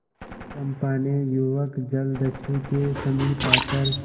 चंपा ने युवक जलदस्यु के समीप आकर